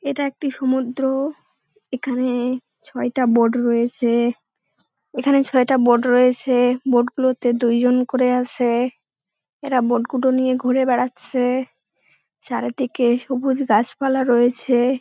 এটা একটি সমুদ্র এখানে- ছয়টা বোট রয়েছে এখানে ছয়টা বোট রয়েছে বোট গুলোতে দুইজন করে আছে এরা বোট গুডো নিয়ে ঘুরে বেড়াচ্ছে চারিদিকে সবুজ গাছপালা রয়েছে।